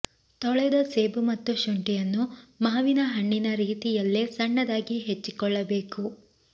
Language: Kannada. ತೊಳೆದ ಸೇಬು ಮತ್ತು ಶುಂಠಿಯನ್ನು ಮಾವಿನ ಹಣ್ಣಿನ ರೀತಿಯಲ್ಲೇ ಸಣ್ಣದಾಗಿ ಹೆಚ್ಚಿಕೊಳ್ಳಬೇಕು